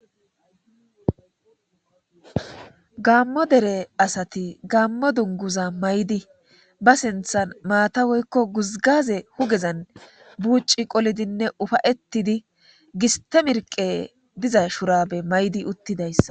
gaammo dere asati gaammo dunguza maydi ba sinthan maata woykko guzgaze hugezan buuci qolidinne ufayettidi gistemirqe diza shurabe maydi uttidayssa